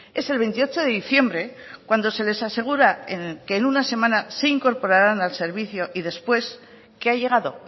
es el veintiocho de diciembre cuando se les asegura que en una semana se incorporarán al servicio y después qué ha llegado